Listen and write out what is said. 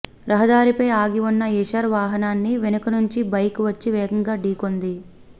రహదారిపై ఆగి ఉన్న ఐషర్ వాహనాన్ని వెనక నుంచి బైక్ వచ్చి వేగంగా ఢీకొంది